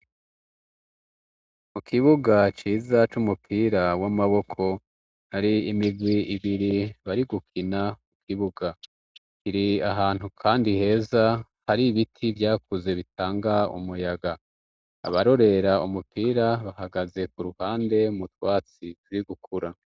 Mu kibuga ciza c' umupira w'amaboko hari imigwi ibiri bari gukina ikibuga kiri ahantu, kandi heza hari ibiti vyakuze bitanga umuyaga abarorera umupira bahagaze ku ruhande mutwatsi turi gukura.